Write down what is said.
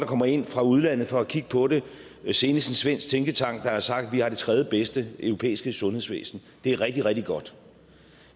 kommer ind fra udlandet for at kigge på det senest en svensk tænketank der har sagt at vi har det tredjebedste europæiske sundhedsvæsen det er rigtig rigtig godt